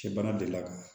Cɛ bana de la